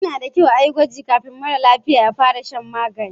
Yana da kyau a yi gwaji kafin mara lafiya ya fara shan magani.